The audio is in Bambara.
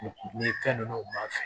Ni fɛn ninnu u b'a fɛ